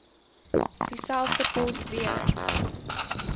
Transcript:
dieselfde pos weer